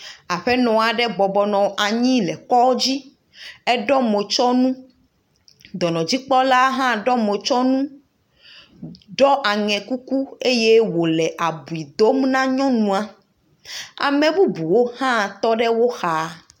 Aƒenɔ aɖe bɔbɔ nɔ anyi le kɔdzi. Eɖɔ motsɔnu. Dɔnɔdzikpɔla hã ɖɔ motsɔnu ɖɔ aŋɛ kuku eye wòle abui dom na nyɔnua. Ame bubuwo hã tɔ ɖe wo ha